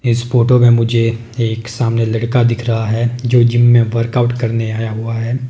इस फोटो में मुझे एक सामने लड़का दिख रहा है जो जिम में वर्कआउट करने आया हुआ है।